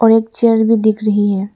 कुछ चेयर भी दिख रही है।